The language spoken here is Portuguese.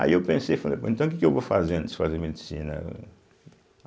Aí eu pensei, falei bom então o que que eu vou fazer antes de fazer medicina eh?